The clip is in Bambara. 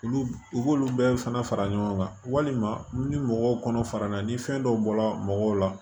Olu u b'olu bɛɛ fana fara ɲɔgɔn kan walima ni mɔgɔw kɔnɔ farala ni fɛn dɔw bɔla mɔgɔw la